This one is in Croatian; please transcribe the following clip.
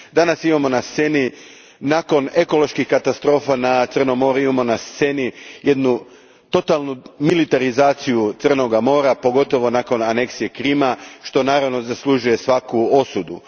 Danas imamo na sceni, nakon ekoloških katastrofa na Crnom moru, jednu totalnu militarizaciju Crnoga mora, pogotovo nakon aneksije Krima, što naravno zaslužuje svaku osudu.